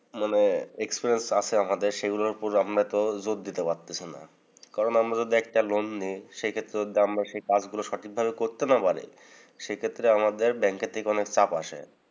মানে experience আছে আমাদের। সেগুলোর উপর আমরা তো জোর দিতে পারতেছি না। কারণ, আমরা যদি একটা loan নেই সেক্ষেত্রে আমরা যদি কাজ গুলো সঠিকভাবে করতে না পারি, সে ক্ষেত্রে আমাদের ব্যাংকে থেকে অনেক চাপ আসে।